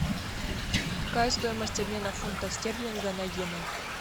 какая стоимость обмена фунта стерлинга на йены